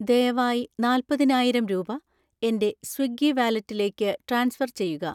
ദയവായി നാല്പതിനായിരം രൂപ എൻ്റെ സ്വിഗ്ഗി വാലറ്റിലേക്ക് ട്രാൻസ്ഫർ ചെയ്യുക.